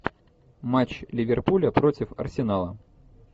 матч ливерпуля против арсенала